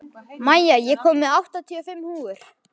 Maja, ég kom með áttatíu og fimm húfur!